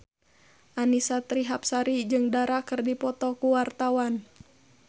Annisa Trihapsari jeung Dara keur dipoto ku wartawan